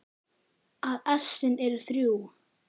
að essin eru þrjú!